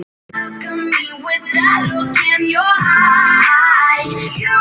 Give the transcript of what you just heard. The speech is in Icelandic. Þetta hefði nú mátt bíða.